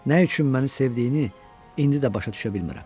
Nə üçün məni sevdiyini indi də başa düşə bilmirəm.